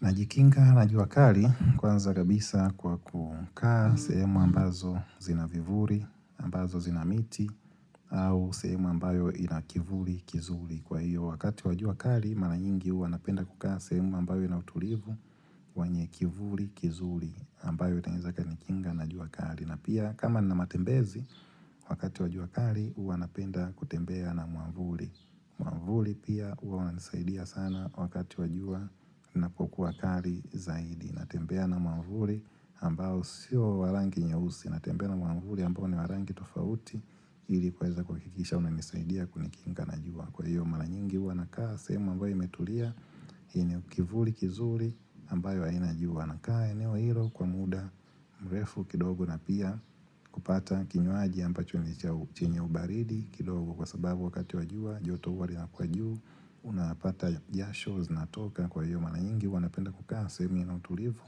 Najikinga na jua kali kwanza kabisa kwa kukaa sehemu ambazo zina vivuli, ambazo zina miti au sehemu ambayo inakivuli kizuri. Kwa hiyo wakati wa jua kali, mara nyingi huwa napenda kukaa sehemu ambayo ina utulivu, wenye kivuli kizuri ambayo itaweza ikanikinga na jua kali. Na pia kama nina matembezi wakati wa jua kali huwa napenda kutembea na mwavuli. Mwavuli pia huwa wanisaidia sana wakati wa jua inapokuwa kali zaidi. Natembea na mwavuli ambao sio wa rangi nyeusi. Natembea na mwavuli ambao ni wa rangi tofauti ili kuweza kuhakikisha umenisaidia kunikinga na jua. Kwa hiyo mara nyingi huwa nakaa sehemu ambayo imetulia yenye kivuli kizuri ambayo haina jua. Nakaa eneo hilo kwa muda mrefu kidogo na pia kupata kinywaji ambacho ni chenye ubaridi kidogo kwa sababu wakati wa jua joto huwa linakuwa juu Unapata jasho zinatoka kwa hiyo mara nyingi huwa napenda kukaa sehemu ina utulivu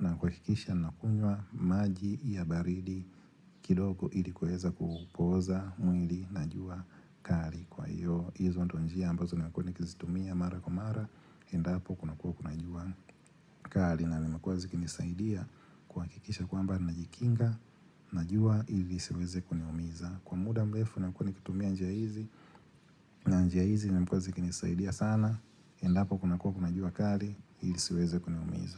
na kuhakikisha nakunywa maji ya baridi kidogo ili kuweza kupoza mwili na jua kari kwa hiyo, hizo ndiyo njia ambazo nakuwa nikizitumia mara kwa mara Endapo kuna kuwa kuna jua kali na nimukuwa zikinisaidia kuhakikisha kwamba najikinga na jua ili lisiweze kuniumiza. Kwa muda mrefu nakuwa nikitumia njia hizi njia hizi nakumbuka zikinisaidia sana Endapo kuna kuwa kuna jua kali ili lisiweze kuniumiza.